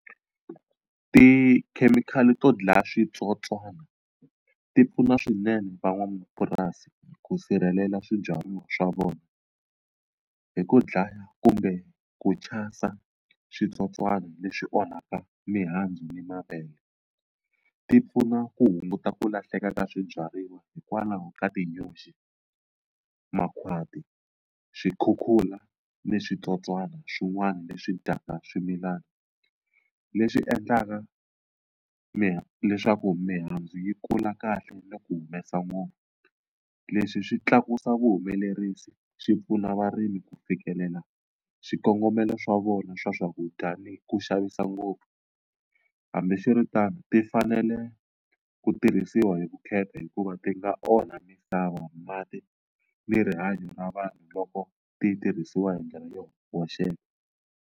Tikhemikhali to dlaya switsotswana ti pfuna swinene van'wamapurasi ku sirhelela swibyariwa swa vona hi ku dlaya kumbe ku chasa switsotswana leswi onhaka mihandzu ni mavele. Ti pfuna ku hunguta ku lahleka ka swibyariwa hikwalaho ka tinyoxi, makhwati, swikhukhula ni switsotswana swin'wana leswi dyaka swimilana leswi endlaka leswaku mihandzu yi kula kahle ni ku humesa . Leswi swi tlakusa vuhumelerisi swi pfuna varimi ku fikelela swikongomelo swa vona swa swakudya ni ku xavisa ngopfu hambiswiritano ti fanele ku tirhisiwa hi vukheta hikuva ti nga onha misava, mati ni rihanyo na vanhu loko ti tirhisiwa hi ndlela yo hoxeka.